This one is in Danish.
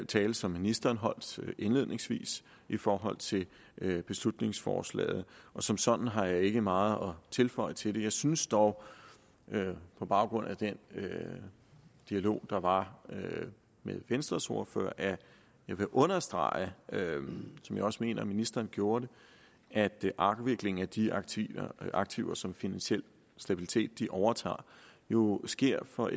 tale som ministeren holdt indledningsvis i forhold til beslutningsforslaget og som sådan har jeg ikke meget at tilføje til det jeg synes dog på baggrund af den dialog der var med venstres ordfører at jeg vil understrege som jeg også mener ministeren gjorde det at afviklingen af de aktiver aktiver som finansiel stabilitet overtager jo sker for